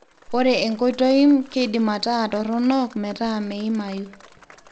ore enkoitoim keidim ataa toronok metaa meimayu